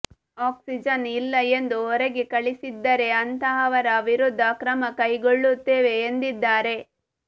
oxygen ಇಲ್ಲ ಎಂದು ಹೊರಗೆ ಕಳಿಸಿದ್ದರೆ ಅಂತಹವರ ವಿರುದ್ಧ ಕ್ರಮ ಕೈಗೊಳ್ಳುತ್ತೇವೆ ಎಂದಿದ್ದಾರೆ